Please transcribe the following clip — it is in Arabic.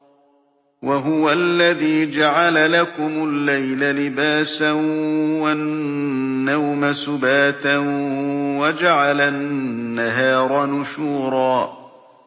وَهُوَ الَّذِي جَعَلَ لَكُمُ اللَّيْلَ لِبَاسًا وَالنَّوْمَ سُبَاتًا وَجَعَلَ النَّهَارَ نُشُورًا